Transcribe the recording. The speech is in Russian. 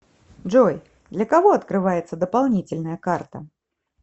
джой для кого открывается дополнительная карта